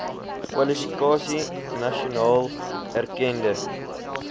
kwalifikasie nasionaal erkende